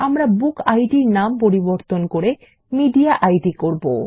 আমরা বুকিড নাম পরিবর্তন করে মিডিয়েইড করব